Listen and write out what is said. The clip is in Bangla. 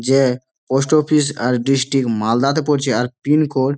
যে পোস্ট অফিস আর ডিস্ট্রিক্ট মালদাতে পড়ছে। আর পিনকোড --